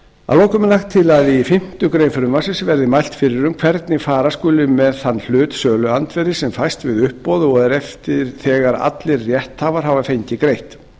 að lokum er lagt til að í fimmtu grein frumvarpsins verði mælt fyrir um hvernig fara skuli með þann hluta söluandvirðis sem fæst við uppboð og er eftir þegar allir rétthafar hafa fengið greitt